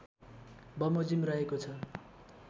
बमोजिम रहेको छ